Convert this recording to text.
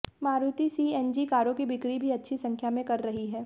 Maruti CNG कारों की बिक्री भी अच्छी संख्या में कर रही है